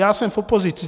Já jsem v opozici.